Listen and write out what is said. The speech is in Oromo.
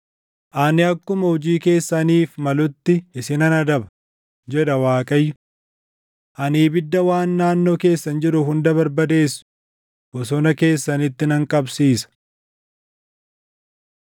ani akkuma hojii keessaniif malutti isinan adaba, jedha Waaqayyo. Ani ibidda waan naannoo keessan jiru hunda barbadeessu bosona keessanitti nan qabsiisa.’ ”